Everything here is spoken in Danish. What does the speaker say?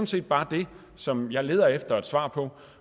set bare det som jeg leder efter et svar på